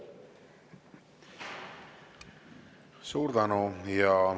Suur tänu!